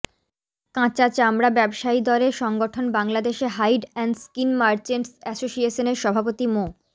কাঁচা চামড়া ব্যবসায়ীদরে সংগঠন Bangladesh hide and skin merchants অ্যাসোসিয়েশনের সভাপতি মো